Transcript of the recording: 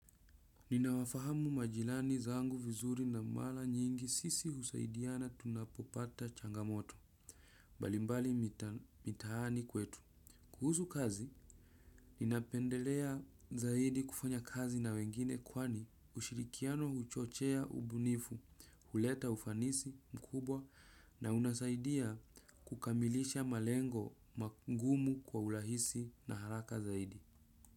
Ninawafahamu majirani zangu vizuri na mala nyingi sisi husaidiana tunapopata changamoto. Mbalimbali mita, mitaani kwetu. Kuhusu kazi, ninapendelea zaidi kufanya kazi na wengine kwani ushirikiano huchochea ubunifu, huleta ufanisi mkubwa na unasaidia kukamilisha malengo magumu kwa urahisi na haraka zaidi.